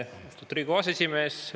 Austatud Riigikogu aseesimees!